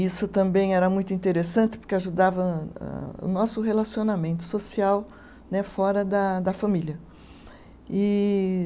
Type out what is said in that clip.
Isso também era muito interessante, porque ajudava a, o nosso relacionamento social né fora da da família. E